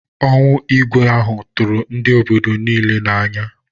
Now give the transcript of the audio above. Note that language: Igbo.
Ọnwụ Igwe ahụ tụrụ ndị obodo niile n'anya